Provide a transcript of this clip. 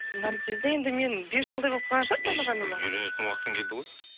наргизді енді мен бес жылдай болып қалған шығар үйренетін уақытың келді ғой